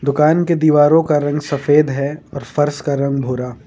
दुकान के दीवारों का रंग सफेद है और फर्श का रंग भूरा।